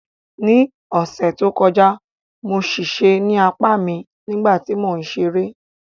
Ní ọ̀sẹ̀ tó kọjá, mo ṣèṣe ní apá mi nígbà tí mò ń ṣeré